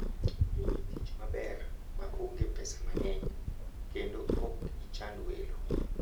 In gi tich maber ma onge pesa mang'eny, kendo ok ichand welo.